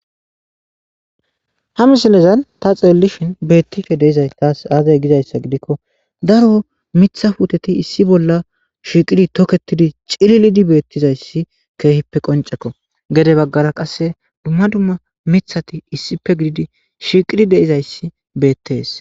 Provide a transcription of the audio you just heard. Ha misilezan ta xeellishin beettife deizay taasi aazay gizayssa gidikko daro mitha puuteti issi bolla shiiqidi toketidi cililidi beettizayssi keehippe qoncekko gede baggara qasse dumma dumma mithati issipe gididi shiiqidi deizayssi beettees.